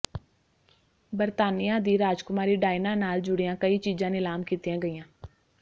ਬਰਤਾਨੀਆ ਦੀ ਰਾਜਕੁਮਾਰੀ ਡਾਇਨਾ ਨਾਲ ਜੁੜੀਆਂ ਕਈ ਚੀਜ਼ਾਂ ਨਿਲਾਮ ਕੀਤੀਆਂ ਗਈਆਂ